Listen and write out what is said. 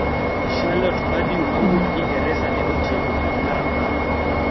Charlotte Purdue mawuok Ingresa ne otieko ng`at mar apar.